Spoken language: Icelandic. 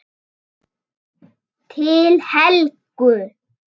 Til Helgu.